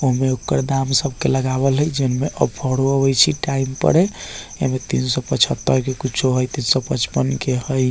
ओमें ओकर दाम सब के लगावल हई जे में ऑफरों आबे छै टाइम पर एमे तीन सौ पछतर के कुछो हई तीन सौ पचपन के हई।